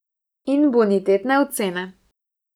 In bonitetne ocene.